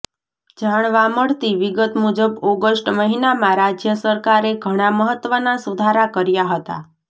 જાણવા મળતી વિગત મુજબ ઓગષ્ટ મહિનામાં રાજ્ય સરકારે ઘણા મહત્વના સુધારા કર્યા હતા